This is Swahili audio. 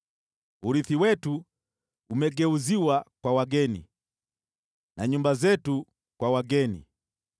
Urithi wetu umegeuziwa kwa wageni, na nyumba zetu kwa wageni.